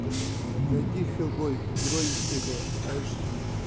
найди хеллбой герой из пекла аш ди